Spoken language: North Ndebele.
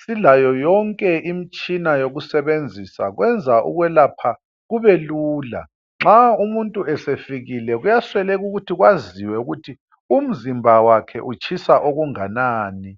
silayo yonke imtshina yokusebenzisa, kwenza ukwelapha kube lula. Nxa umuntu esefikile kuyasweleka ukuthi kwaziwe ukuthi umzimba wakhe utshisa okunganani.